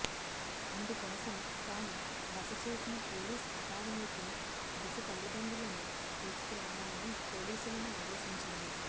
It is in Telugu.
అందుకోసం తాము బస చేసిన పోలీస్ అకాడమీకి దిశ తల్లిదండ్రులను తీసుకురావాలని పోలీసులను ఆదేశించింది